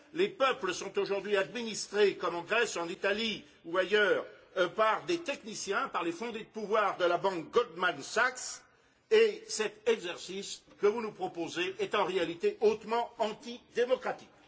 Les peuples sont aujourd'hui administrés, comme en Grèce, en Italie ou ailleurs, par des techniciens, par les fondés de pouvoir de la banque Goldman Sachs et cet exercice que vous nous proposez est en réalité hautement antidémocratique.